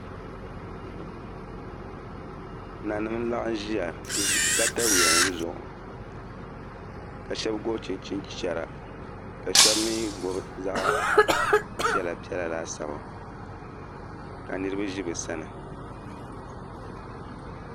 Nanim n laɣam ʒiya n ʒi katawiya nim zuɣu ka shab gobi chinchin chɛra ka shab mii gob zaɣ piɛla piɛla laasabu ka niraba ʒi bi sani